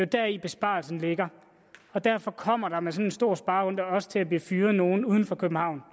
deri besparelsen ligger og derfor kommer der med sådan en stor sparerunde også til at blive fyret nogle uden for københavn